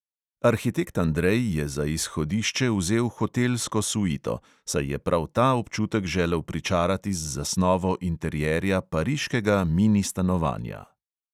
Arhitekt andrej je za izhodišče vzel hotelsko suito, saj je prav ta občutek želel pričarati z zasnovo interierja pariškega mini stanovanja.